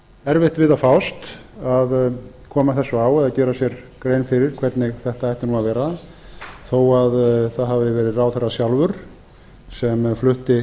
erfitt við að fást að koma þessu á eða gera sér grein fyrir hvernig þetta ætti nú að vera þó það hafi verið ráðherra sjálfur sem flutti